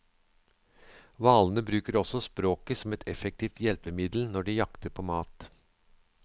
Hvalene bruker også språket som et effektivt hjelpemiddel når de jakter på mat.